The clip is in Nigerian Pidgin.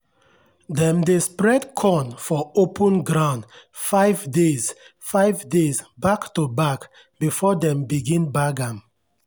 dem dey spread corn for open ground five days five days back-to-back before dem begin bag am.